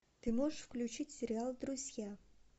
ты можешь включить сериал друзья